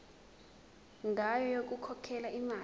ngayo yokukhokhela imali